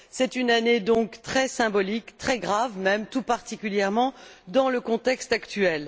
C'est donc une année très symbolique, très grave même, tout particulièrement, dans le contexte actuel.